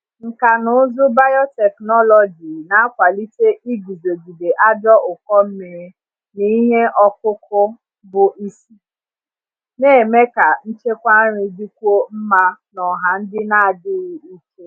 Nkà na ụzụ biotechnology na-akwalite iguzogide ajọ ụkọ mmiri n’ihe ọkụkụ bụ isi, na-eme ka nchekwa nri dịkwuo mma n’ọha ndị na-adịghị ike.